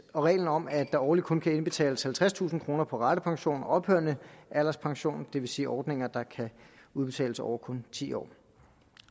og reglen om at der årligt kun kan indbetales halvtredstusind kroner på ratepension og ophørende alderspension det vil sige ordninger der kan udbetales over kun ti år